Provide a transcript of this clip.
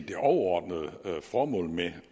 det overordnede formål med